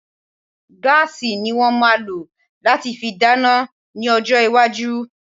Gas ni wọ́n máa lò láti fi dáná ní ọjọ́ iwájú